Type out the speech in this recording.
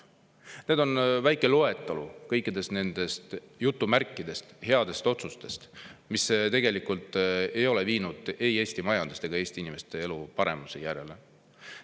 See on väike loetelu kõikidest nendest "headest otsustest", mis tegelikult ei ole viinud ei Eesti majandust ega Eesti inimeste elu paremale järjele.